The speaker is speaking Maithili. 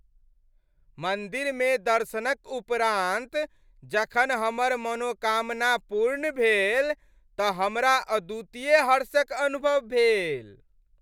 मन्दिरमे दर्शनक उपरान्त जखन हमर मनोकामना पूर्ण भेल तऽ हमरा अद्वितीय हर्षक अनुभव भेल।